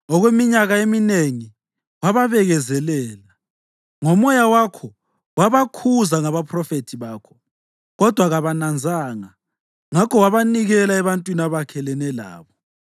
Okweminyaka eminengi wababekezelela. NgoMoya wakho wabakhuza ngabaphrofethi bakho. Kodwa kabananzanga, ngakho wabanikela ebantwini abakhelene labo.